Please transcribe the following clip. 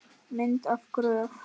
Mynd og gröf